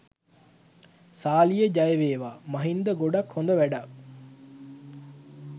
සාලිය ජයවේවා මහින්ද ගොඩක් හොද වැඩක්.